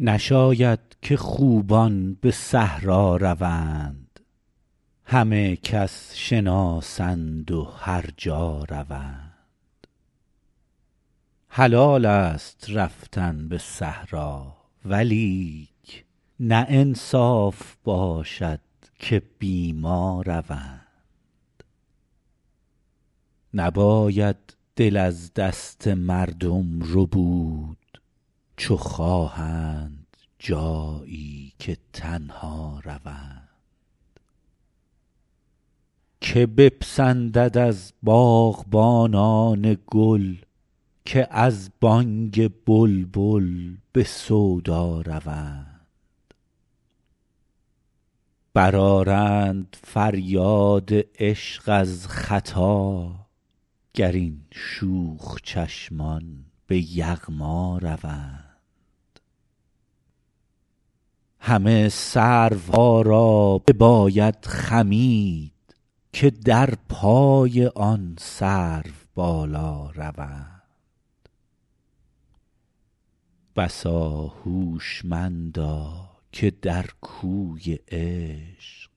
نشاید که خوبان به صحرا روند همه کس شناسند و هر جا روند حلالست رفتن به صحرا ولیک نه انصاف باشد که بی ما روند نباید دل از دست مردم ربود چو خواهند جایی که تنها روند که بپسندد از باغبانان گل که از بانگ بلبل به سودا روند برآرند فریاد عشق از ختا گر این شوخ چشمان به یغما روند همه سروها را بباید خمید که در پای آن سروبالا روند بسا هوشمندا که در کوی عشق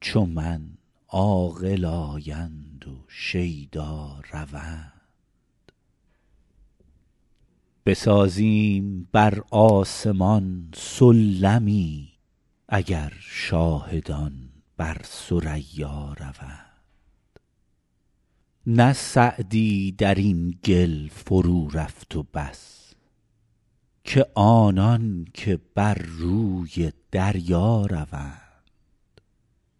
چو من عاقل آیند و شیدا روند بسازیم بر آسمان سلمی اگر شاهدان بر ثریا روند نه سعدی در این گل فرورفت و بس که آنان که بر روی دریا روند